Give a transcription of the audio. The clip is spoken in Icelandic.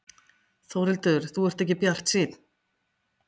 Þórhildur: Þú ert ekki bjartsýnn?